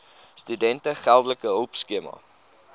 studente geldelike hulpskema